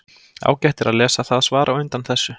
Ágætt er að lesa það svar á undan þessu.